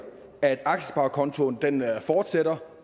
at aktiesparekontoen fortsætter